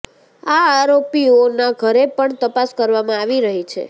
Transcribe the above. આ આરોપીઓના ઘરે પણ તપાસ કરવામાં આવી રહી છે